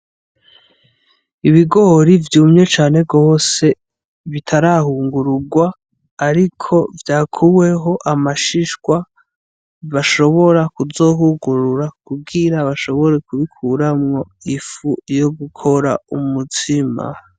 Ibigori vyumye cane gose bitarahungururwa ariko vyakuweko amashishwa, bashobora kuzohungurura kugira bashobore kubikoramwo ifu yo gukora umutsima.